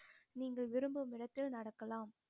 நீங்கள் விரும்பும் இடத்தில் நடக்கலாம்